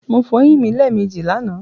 Mo fo eyín mi lẹ́èmejì lànàá